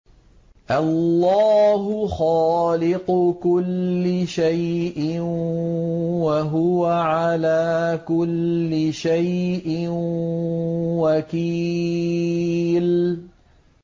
اللَّهُ خَالِقُ كُلِّ شَيْءٍ ۖ وَهُوَ عَلَىٰ كُلِّ شَيْءٍ وَكِيلٌ